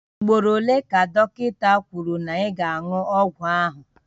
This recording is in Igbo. Ugboro ole ka dọkịta kwuru na ị ga-aṅụ ọgwụ ahụ?